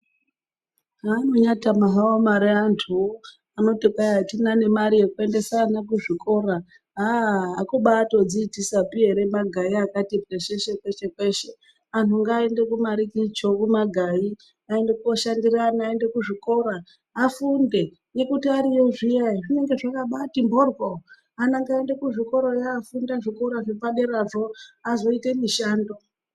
Zvaanonyatama hawo mare antuwo anoti kwai atina nemare yekuendesa ana kuzvikora aaaaa akubatodziitisapi ere magayi akati pwesheshe peshe peshe antu angaaende kumarikicho kumagayi aende koshandira ana aende kuzvikora afaunde ngekuti ariyo zviya zvinenge zva akabato mboryo ana ngaaende kuzvikorayo afunde zvikora zvipaderazvo azoite mishando.